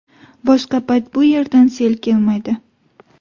Boshqa payt bu yerdan sel kelmaydi.